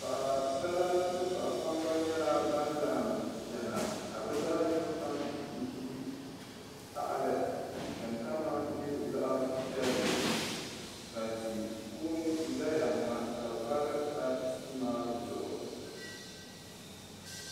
Paɣasara ni paɣa kpabbi nyɛla ban laɣam chɛna ka bi zaɣ yino kam ʒi tahali din kama nyɛ zaɣ piɛlli ka ti kuuni ʒɛya ha ka vari ka tia maa zuɣu